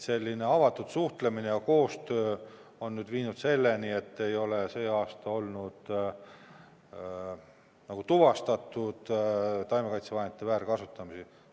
Selline avatud suhtlemine ja koostöö on viinud selleni, et sel aastal ei ole tuvastatud taimekaitsevahendite väärkasutamist.